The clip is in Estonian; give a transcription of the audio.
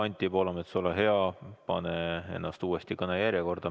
Anti Poolamets, ole hea, pane ennast uuesti kõnejärjekorda.